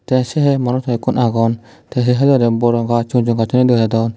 te se hai morot hoi ekkun agon te saidodi bor gaj sigon sigon gaj thoyun degadon.